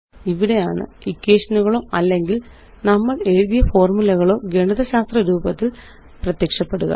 ഇവിടെയാണ്ഇക്വേഷനുകളോ അല്ലെങ്കില് നമ്മളെഴുതിയ ഫോര്മുലകളോ ഗണിതശാസ്ത്ര രൂപത്തില് പ്രത്യക്ഷപ്പെടുക